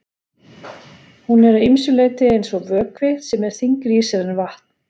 Hún er að ýmsu leyti eins og vökvi sem er þyngri í sér en vatn.